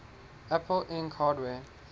apple inc hardware